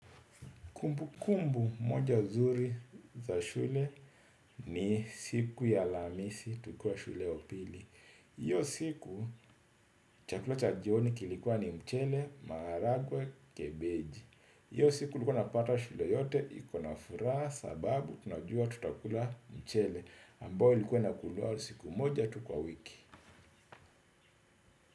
Kumbu kumbu moja zuri za shule ni siku ya alhamisi tukiwa shule ya upili. Hio siku chakula cha jioni kilikuwa ni mchele, maharagwe, kebeji. Iyo siku ulikuwa napata shule yote ikona furaha sababu tunajua tutakula mchele. Ambo ilikuwa inakuliwa siku moja tu kwa wiki.